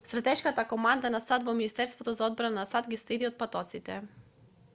стратешката команда на сад во министерството за одбрана на сад ги следи отпадоците